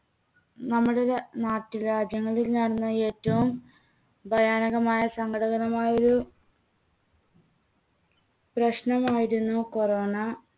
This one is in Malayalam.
നമ്മടെ നാ~നാട്ടുരാജ്യങ്ങളിൽ നടന്ന ഏറ്റവും ഭയാനകമായ സങ്കടകരമായ ഒരു പ്രശ്നമായിരുന്നു corona.